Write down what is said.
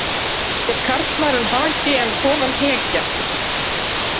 Hét karlmaðurinn Haki en konan Hekja.